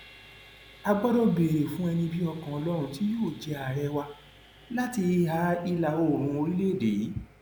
a gbọdọ béèrè fún ẹni bíi ọkàn ọlọrun tí yóò jẹ àárẹ wa láti ìhà ìlàoòrùn orílẹèdè yìí